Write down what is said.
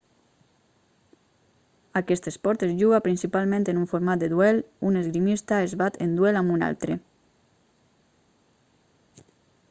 aquest esport es juga principalment en un format de duel un esgrimista es bat en duel amb un altre